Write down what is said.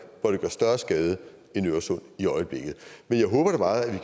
hvor det gør større skade end i øresund i øjeblikket men jeg håber da meget at